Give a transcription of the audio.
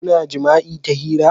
Kuna jima'i ta hira?